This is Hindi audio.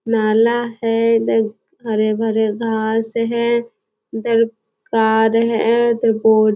नाला है इधर हरे-भरे घास हैं इधर कार है इधर गो --